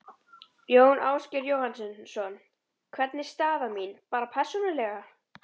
Jón Ásgeir Jóhannesson: Hvernig er staða mín, bara persónulega?